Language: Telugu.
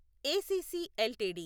ACC LTD